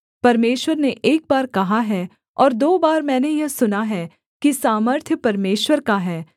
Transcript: परमेश्वर ने एक बार कहा है और दो बार मैंने यह सुना है कि सामर्थ्य परमेश्वर का है